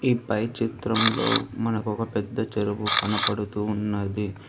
ఈ పై చిత్రంలో మనకు ఒక పెద్ద చెరువు కనబడుతూ ఉన్నది.